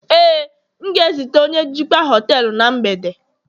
Éè, m ga-ezute onye njikwa họtelu na mgbede